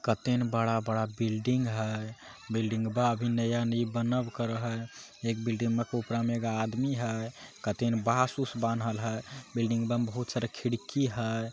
कते ने बड़ा-बड़ा बिल्डिंग हेय बिल्डिंग बा अभी नया नई बनब करे हेय एक बिल्डिंग में एगो आदमी हेय कते ने बास उस बानहल हेय बिल्डिंग बा में बहुत सारा खिड़की हेय।